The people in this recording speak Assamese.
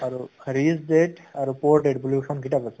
আৰু rich dad আৰু poor dad বুলি এখন কিতাপ আছে